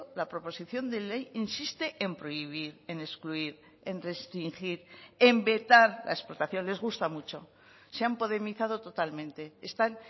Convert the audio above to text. la proposición de ley insiste en prohibir en excluir en restringir en vetar la explotación les gusta mucho se han podemizado totalmente están